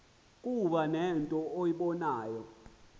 kuba nento eyibonayo